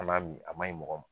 Man'a min a ma ɲi mɔgɔ m